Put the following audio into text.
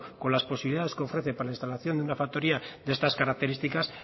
con las posibilidades que ofrece para la instalación de una factoría de estas características